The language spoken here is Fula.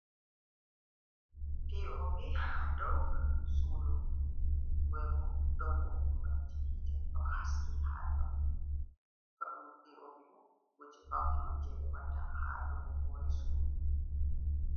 P O P ha dow sudu ,bebo don bo gulobji yite do haski ha ton ,to ɗum P O P bo, kuje Paune on je be watta ha dow hore sudu.